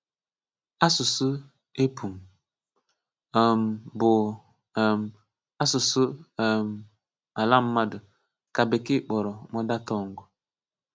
Asụ̀sụ́ épụ̀m, um bụ́ um asụ̀sụ́ um àlà mmadụ, ka Bekee kpọ̀rọ̀ mother tongue.